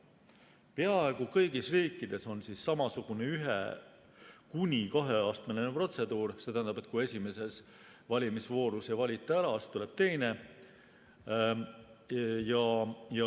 Peaaegu kõigis riikides on samasugune ühe‑ kuni kaheastmeline protseduur: kui esimeses valimisvoorus ei valita ära, siis tuleb teine voor.